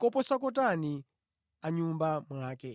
koposa kotani a mʼnyumba mwake!